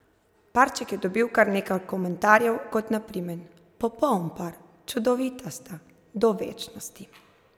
Parček je dobil kar nekaj komentarjev, kot na primer: ''Popoln par'', ''Čudovita sta'', ''Do večnosti ...